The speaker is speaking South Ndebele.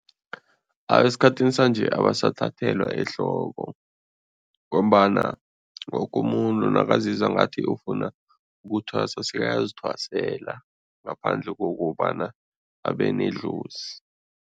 Esikhathini sanje abasathathelwa ehloko ngombana woke umuntu nakazizwa ngathi ufuna ukuthwasa, sekayazithwasela ngaphandle kokobana abe nedlozi.